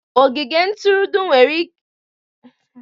Ogige ntụrụndụ nwere ndị otu ahụike maka ihe mberede